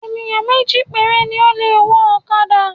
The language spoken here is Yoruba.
Ènìyàn méjì péré ni o le wọ ọ̀kadà